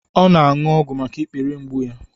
O5 na-aṅụ ọgwụ maka ikpere mgbu ya